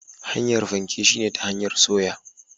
Hanyar fanke shine ta hanyar soya.